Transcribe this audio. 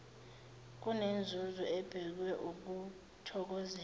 kunenzuzo ebhekwe ukuthokozelwa